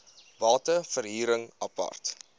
bate verhuring apart